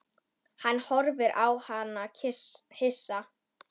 Hann horfði á hana hissa.